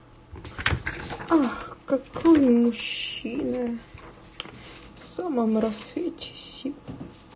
ох какую мужчина самом расцвете сил